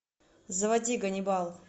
заводи ганнибал